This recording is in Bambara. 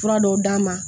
Fura dɔw d'a ma